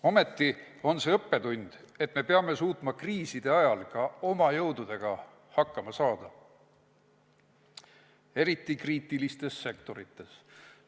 Ja see on õppetund, et peame suutma kriiside ajal ka oma jõududega hakkama saada, eriti kriitilistes sektorites.